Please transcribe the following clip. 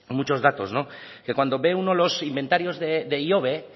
muchos datos que cuando ve uno los inventarios de ihobe